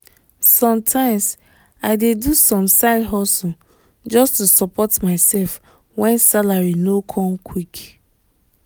sometimes i dey do some side hustle just to support myself when salary no come quick